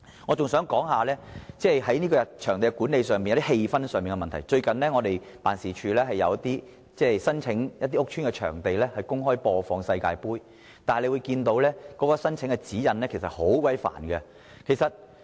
我還想提出場地管理及氣氛的問題，最近我們的辦事處申請在一些屋邨場地公開播放世界盃，但原來申請指引很繁複。